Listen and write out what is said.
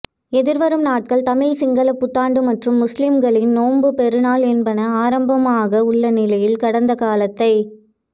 எதிர்வரும் நாட்கள் தமிழ் சிங்கள புத்தாண்டு மற்றும் முஸ்லிம்களின் நோன்பு பெருநாள் என்பன ஆரம்பமாக உள்ள நிலையில் கடந்த காலத்தை